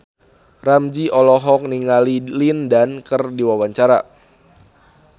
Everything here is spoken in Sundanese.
Ramzy olohok ningali Lin Dan keur diwawancara